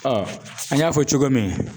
Ɔ an y'a fɔ cogo min